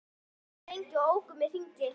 Við ókum lengi og ókum í hringi.